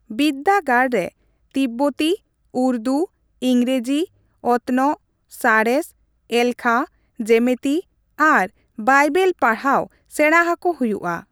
ᱵᱤᱨᱫᱟᱹᱜᱟᱲ ᱨᱮ ᱛᱤᱵᱵᱚᱛᱤ, ᱩᱨᱫᱩ, ᱤᱝᱜᱨᱮᱡᱤ, ᱚᱛᱱᱚᱜ, ᱥᱟᱬᱮᱥ, ᱮᱞᱠᱷᱟ, ᱡᱮᱢᱤᱛᱤ ᱟᱨ ᱵᱟᱭᱵᱮᱞ ᱯᱟᱲᱦᱟᱣ ᱥᱮᱲᱟ ᱟᱠᱚ ᱦᱩᱭᱩᱜᱼᱟ ᱾